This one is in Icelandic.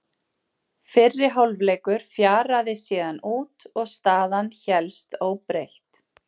Fyrri hálfleikur fjaraði síðan út og staðan hélst óbreytt.